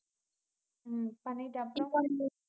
உம் பண்ணிட்டேன் அப்புறம்